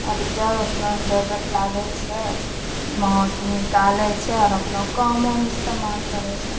आर जब अपनो जरूर लागे छै महां स निकाले छे और अपनो कामों में इस्तेमाल करे छे।